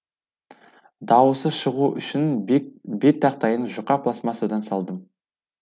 дауысы шығу үшін бет тақтайын жұқа пластмассадан салдым